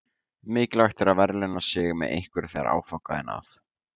Mikilvægt er að verðlauna sig með einhverju þegar áfanga er náð.